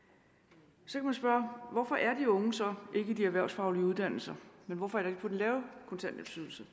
så kan man spørge hvorfor er de unge så ikke i de erhvervsfaglige uddannelser men hvorfor er de på den lave kontanthjælpsydelse